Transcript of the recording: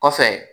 Kɔfɛ